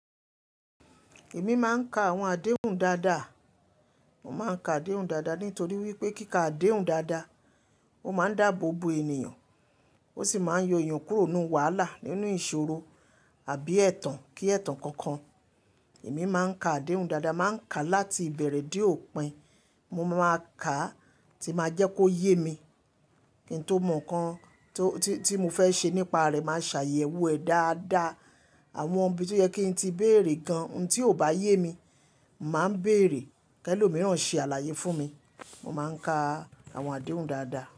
Èmi máa ń ka àwọn àdéhùn dáadáa. Mo máa ń ka àdéhùn dáadáa nítorí wípé kí ka àdéhùn dáadáa, ó máa ń dáàbò bo ènìyàn, ó sì máa ń yọ èèyàn kúrò nínú wàhálà nínú ìṣòro àbí ẹ̀tàn kí ẹ̀tàn kankan. Èmi máa ń ka àdéhùn dáadáa, màá ń ka láti ìbẹ̀rẹ̀ dé òpin. Mo máa kàá tí máa jẹ́ kó yé mi. Kíbn tó mọ̀ nǹkan tí, tí, tí mo fẹ́ ṣe nípa rẹ̀, màá ṣàyẹ̀wò ẹ̀ dáadáa. Àwọn ibi tó yẹ kí n tí bèèrè gan-an tí ò bá yé mi, màá bèèrè ke lòmíràn ṣe àlàyé fún mi. Mo máa ń ka àwọn àdéhùn dáadáa.